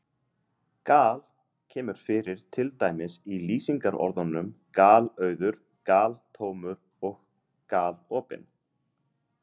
Gal- kemur fyrir til dæmis í lýsingarorðunum galauður, galtómur og galopinn.